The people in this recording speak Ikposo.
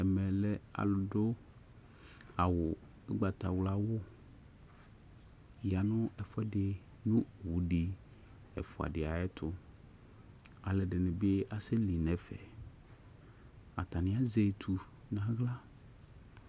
Ɛme lɛ alʊdʊ ʊgbatawla awʊ yanʊ ɛfʊɛdɩ nʊ owʊ ɛfʊa ɛdɩtʊ alʊ edɩnɩ bɩ aseli nʊ ɛfɛ atanɩ azɛ etu nʊ aɣla